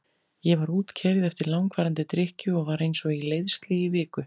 Ég var útkeyrð eftir langvarandi drykkju og var eins og í leiðslu í viku.